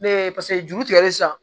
Ne ye paseke juru tigɛlen san